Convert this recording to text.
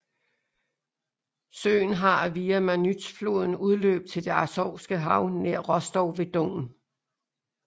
Søen har via Manytjfloden udløb til det Azovske Hav nær Rostov ved Don